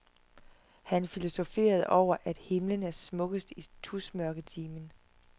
Han filosoferede over, at himmelen er smukkest i tusmørketimen.